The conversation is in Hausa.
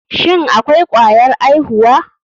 Shin akwai kwayar aihuwa.